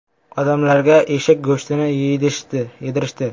“Odamlarga eshak go‘shtini yedirishdi.